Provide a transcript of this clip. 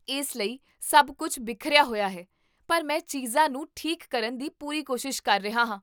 ਇਸ ਲਈ ਸਭ ਕੁੱਝ ਬਿਖਰਿਆ ਹੋਇਆ ਹੈ, ਪਰ ਮੈਂ ਚੀਜ਼ਾਂ ਨੂੰ ਠੀਕ ਕਰਨ ਦੀ ਪੂਰੀ ਕੋਸ਼ਿਸ਼ ਕਰ ਰਿਹਾ ਹਾਂ